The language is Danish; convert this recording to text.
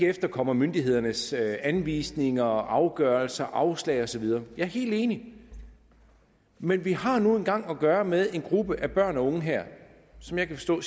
efterkomme myndighedernes anvisninger afgørelser afslag og så videre jeg er helt enig men vi har nu engang at gøre med en gruppe af børn og unge her som jeg kan forstå